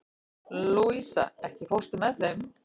Louisa, ekki fórstu með þeim?